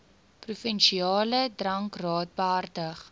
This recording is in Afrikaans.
provinsiale drankraad behartig